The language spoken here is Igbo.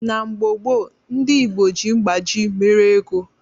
Na mgbo gbo ndi igbo ji mgbaji mere ego